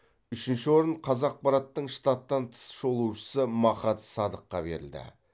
үшінші орын қазақпараттың штаттан тыс шолушысы махат садыққа берілді